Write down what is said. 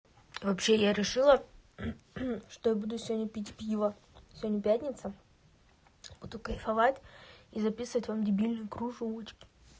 вообще я решила что я буду сегодня пить пиво сегодня пятница буду кайфовать и записывать вам дебильные кружочки